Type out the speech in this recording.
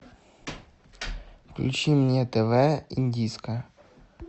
включи мне тв индийское